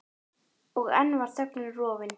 Og enn var þögnin rofin.